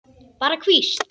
Bara hvísl.